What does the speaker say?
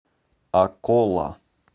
акола